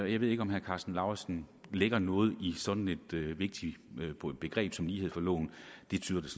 jeg ved ikke om herre karsten lauritzen lægger noget i sådan et vigtigt begreb som lighed for loven det tyder det